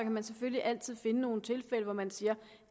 man selvfølgelig altid finde nogle tilfælde hvor man siger